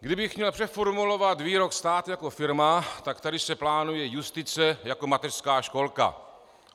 Kdybych měl přeformulovat výrok "stát jako firma", tak tady se plánuje justice jako mateřská školka.